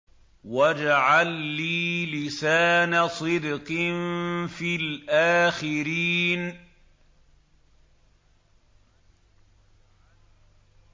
وَاجْعَل لِّي لِسَانَ صِدْقٍ فِي الْآخِرِينَ